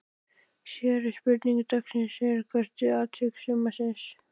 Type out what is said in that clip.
Síðari spurning dagsins er: Hvert er atvik sumarsins?